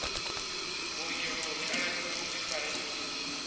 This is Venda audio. vhuongeloni a lafhiwe vhuḓifari uvho